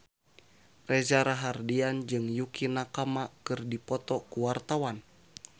Reza Rahardian jeung Yukie Nakama keur dipoto ku wartawan